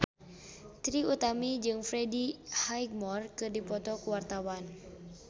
Trie Utami jeung Freddie Highmore keur dipoto ku wartawan